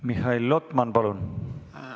Mihhail Lotman, palun!